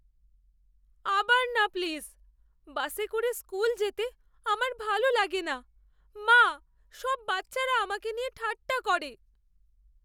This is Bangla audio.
আবার না প্লিজ! বাসে করে স্কুল যেতে আমার ভালো লাগে না, মা। সব বাচ্চারা আমাকে নিয়ে ঠাট্টা করে।